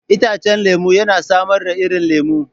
Itacen lemu yana samar da irin lemu.